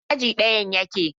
Ina aji ɗayan yake?